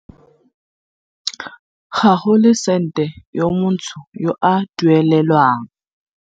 Ga go le sente yo montsho yo a duelelwang.